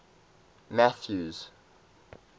mathews